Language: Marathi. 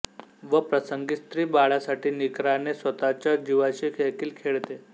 व प्रसंगी स्त्री बाळासाठी निकराने स्वतच्या जीवाशी देखील खेळते